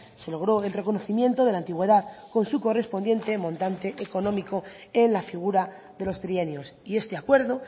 se logró el reconocimiento de la antigüedad con su correspondiente montante económico en la figura de los trienios y este acuerdo